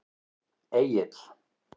Egill